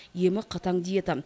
емі қатаң диета